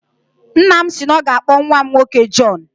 Nna m si na ọ ga-akpọ nnwa m nwoke Jọn